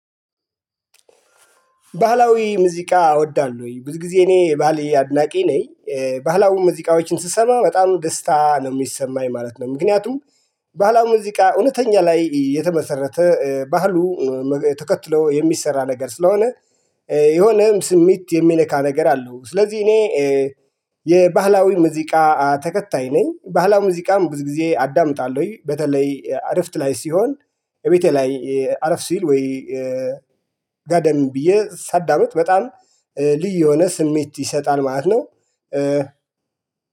ባህላዊ ሙዚቃ እወዳለሁኝ ብዙ ጊዜ እኔ የባህል አድናቂ ነኝ። ባህላዊ ሙዚቃዎችን ስሰማ በጣም ደስታ ነው የሚሰማኝ ማለት ነው። ምክንያቱም ባህላዊ ሙዚቃ እውነተኛ ላይ የተመሰረተ ባህሉ ተከትሎ የሚሰራ ነገር ስለሆነ የሆነም ስሜት የሚነካ ነገር አለው ስለዚህ እኔ የባህላዊ ሙዚቃ ተከታይ ነኝ። ባህላዊ ሙዚቃም ብዙ ጊዜ አዳምጣለሁ በተለይ አረፍት ላይ ሲሆን። ቤቴ ላይ አረፍ ሲል ወይ። ጋደም ብዬ ሳዳምጥ በጣም ልዩ የሆነ ስሜት ይሰጣል ማለት ነው።